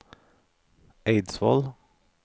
Eidsvoll